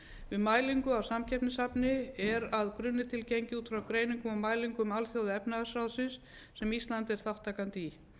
við mælingu á samkeppnishæfni er að grunni til gengið út frá greiningum og mælingum alþjóðaefnahagsráðsins sem ísland er þátttakandi í